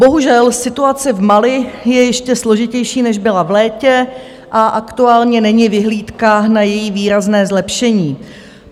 Bohužel situace v Mali je ještě složitější, než byla v létě, a aktuálně není vyhlídka na její výrazné zlepšení.